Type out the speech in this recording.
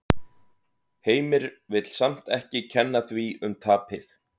Heimir vill samt ekki kenna því um tapið.